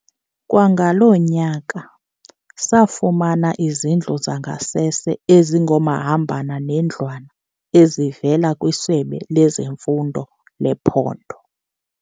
"Kwangalo nyaka, safumana izindlu zangasese ezingomahamba nendlwana ezivela kwiSebe lezeMfundo lephondo."